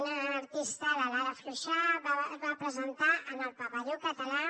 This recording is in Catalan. una artista la lara fluxà va presentar en el pavelló català